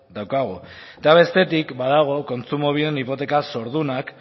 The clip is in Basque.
daukagu eta bestetik badago kontsumobiden hipoteka zordunak